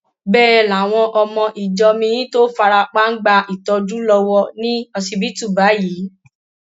bẹẹ làwọn ọmọ ìjọ miín tó fara pa ń gba ìtọjú lọwọ ní ọsibítù báyìí